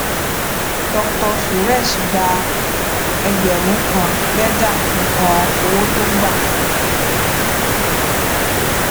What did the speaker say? dr suresh gbà ẹgbẹrún kan lẹjà fi hàn owó tó gba